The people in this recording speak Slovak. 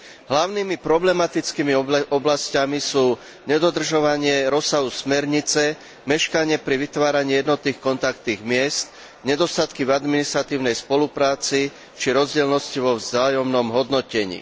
Hlavnými problematickými oblasťami sú nedodržovania rozsahu smernice, meškanie pri vytváraní jednotných kontaktných miest, nedostatky v administratívnej spolupráci či rozdielnosti vo vzájomnom hodnotení.